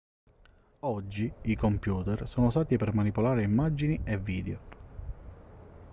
oggi i computer sono usati per manipolare immagini e video